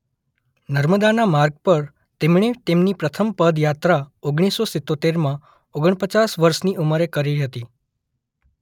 નર્મદાના માર્ગ પર તેમણે તેમની પ્રથમ પદ યાત્રા ઓગણીસ સો સિત્તોતેરમાં ઓગણપચાસ વર્ષની ઉંમરે કરી હતી.